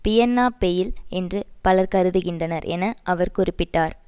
பியன்னா fail என்று பலர் கருதுகின்றனர் என அவர் குறிப்பிட்டார்